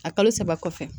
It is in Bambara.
A kalo saba kɔfɛ